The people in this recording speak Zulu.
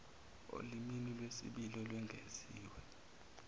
olimini lwesibili olwengeziwe